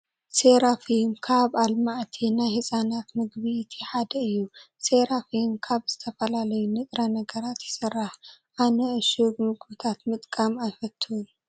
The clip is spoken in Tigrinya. ሴሪፋም ካብ ኣልማዕቲ ናይ ህፃናት ምግቢ እቲ ሓደ እዩ። ሴሪፋም ካብ ዝተፈላለዩ ንጥረ ነገራት ይስራሕ። ኣነ እሹግ ምግብታት ምጥቃም ኣይፈትውን።